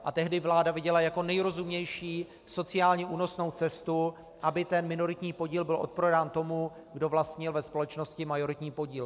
A tehdy vláda viděla jako nejrozumnější sociálně únosnou cestu, aby ten minoritní podíl byl odprodán tomu, kdo vlastnil ve společnosti majoritní podíl.